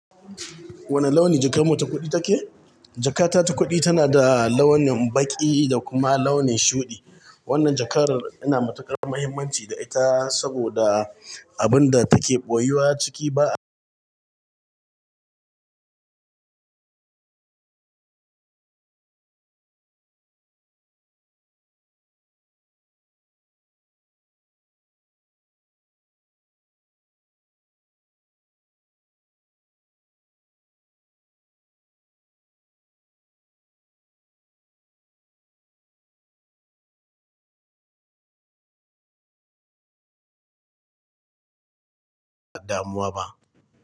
Wane launi jakar mu ta kuɗi take? Jaka ta ta kuɗi tana da launin baƙi da kuma launin shuɗi. Wannan jakar ina matuƙar muhimmanci da ita saboda abun da take ɓoyuwa ciki ba'a damuwa ba.